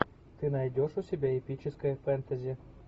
ты найдешь у себя эпическое фэнтези